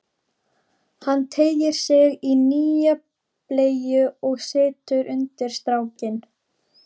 Hann teygir sig í nýja bleyju og setur undir strákinn.